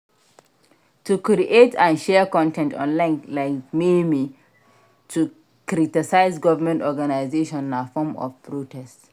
To create and share con ten t online like meme to critise government organisation na form of protest